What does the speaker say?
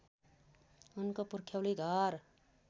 उनको पुर्ख्यौली घर